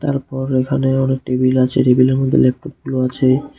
তারপর এখানে অনেক টেবিল আছে টেবিলের মধ্যে ল্যাপটপগুলো আছে।